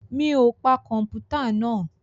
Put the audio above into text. Mi ò pa kọ̀mpútà náà?